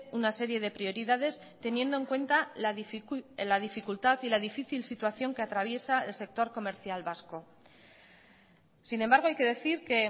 una serie de prioridades teniendo en cuenta la dificultad y la difícil situación que atraviesa el sector comercial vasco sin embargo hay que decir que